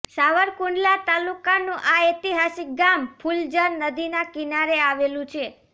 સાવરકુંડલા તાલુકાનું આ ઐતિહાસિક ગામ ફુલઝર નદીના કિનારે આવેલું છે